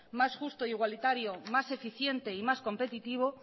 más justo e igualitario más eficiente y más competitivo